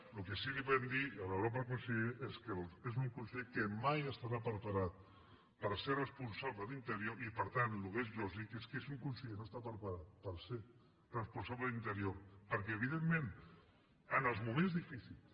el que sí podem dir a l’honorable conseller és que és un conseller que mai estarà preparat per ser responsable d’interior i per tant el que és lògic és que si un conseller no està preparat per ser responsable d’interior perquè evidentment en els moments difícils